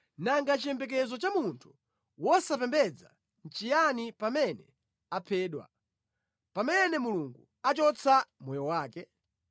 Nanga chiyembekezo cha munthu wosapembedza nʼchiyani pamene aphedwa, pamene Mulungu achotsa moyo wake?